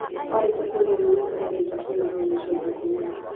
Warĩkia kũrĩa irio wũikare ndagĩka ciagana ũna ũcoke ũkome